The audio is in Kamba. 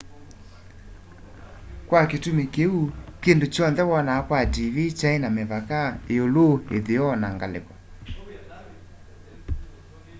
kwa kitumi kiu kindu kyonthe wonaa kwa tv kyai na mivaka iulu itheo na ngaliko